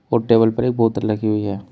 और टेबल पर एक बोतल लगी हुई है।